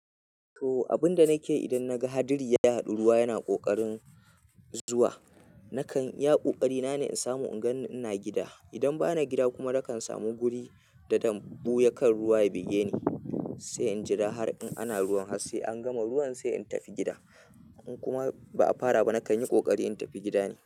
To, abin da nake yi idan naga hadiri ya haɗu ruwa yana ƙoƙarin zuwa, nakan yaƙo ƙari na ne in samu inganni ina gida. Idan ba na gida kuma, nakan samu guri da dambu ya kan ruwa ya bige ni, sai in jira har in ana ruwan harse an gama ruwan sai in tafi gida. In kuma ba a fara ba, nakan yi ƙoƙari in tafi gida ne.